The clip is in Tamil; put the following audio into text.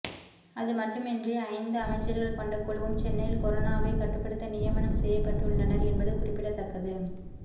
அதுமட்டுமின்றி ஐந்து அமைச்சர்கள் கொண்ட குழுவும் சென்னையில் கொரோனாவை கட்டுப்படுத்த நியமனம் செய்யப்பட்டுள்ளனர் என்பது குறிப்பிடத்தக்கது